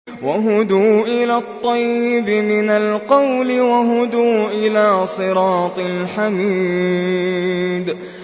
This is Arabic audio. وَهُدُوا إِلَى الطَّيِّبِ مِنَ الْقَوْلِ وَهُدُوا إِلَىٰ صِرَاطِ الْحَمِيدِ